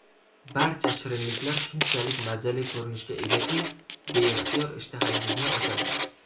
Barcha shirinliklar shunchalik mazali ko‘rinishga egaki, beixtiyor ishtahangizni ochadi.